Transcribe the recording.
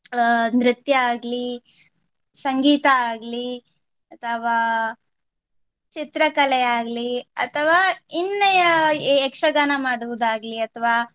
ಅಹ್ ನೃತ್ಯ ಆಗ್ಲಿ, ಸಂಗೀತ ಆಗ್ಲಿ ಅಥವಾ ಚಿತ್ರಕಲೆ ಆಗ್ಲಿ ಅಥವಾ ಇನ್ನು ಯ~ ಯಕ್ಷಗಾನ ಮಾಡುವುದಾಗ್ಲಿ ಅಥವಾ